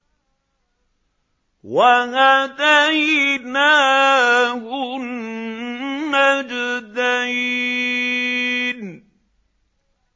وَهَدَيْنَاهُ النَّجْدَيْنِ